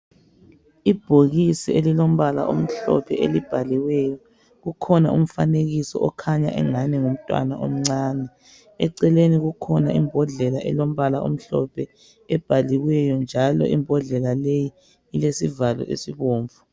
Ibhokisi elilombala omhlophe elibhaliweyo kukhona umfanekiso okhanya engani ngumntwana omncane. Eceleni kukhona imbodlela elombala omhlophe ebhaliweyo njalo imbodlela leyi, ilesivalo esibomvu.